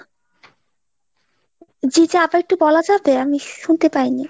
জি চ আপা একটু বলা যাবে আমি শুনতে পাইনি।